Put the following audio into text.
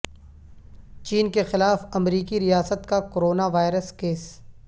چین کے خلاف امریکی ریاست کا کورونا وائرس کیس